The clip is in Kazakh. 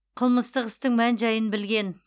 қылмыстық істің мән жайын білген